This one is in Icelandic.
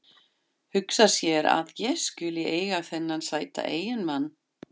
Hugsa sér að ég skuli eiga þennan sæta eiginmann.